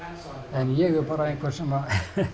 en ég er bara einhver sem